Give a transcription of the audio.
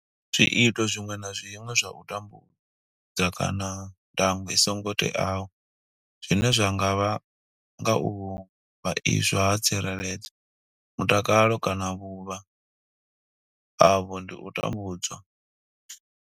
Zwiito zwiṅwe na zwiṅwe zwa u tambudza kana ndango i songo teaho zwine zwa nga vhanga u vhaiswa ha tsireledzo, mutakalo kana vhuvha havho ndi u tambudzwa.